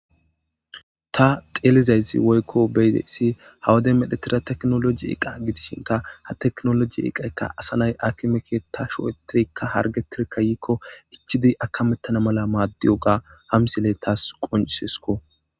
ta xeelizayssi woykko beyide issi hawaden medhetira teknoloji iqa gidishinka ha teknoloji iqaykka asanay akimeke ta shoetirikka hargetirkka yiikko ichidi akamettana mala maaddiyoga hamsiley taas qoncsesko